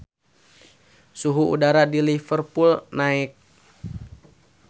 Suhu udara di Liverpool keur naek